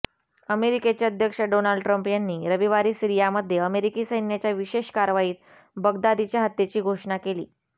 अमेरिकेचे अध्यक्ष Donald Trump यांनी रविवारी सिरियामध्ये अमेरिकी सैन्याच्या विशेष कारवाईत बगदादीच्या हत्येची घोषणा केली